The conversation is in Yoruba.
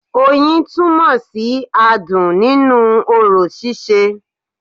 Oyin túnmò sí adùn nínú orò síse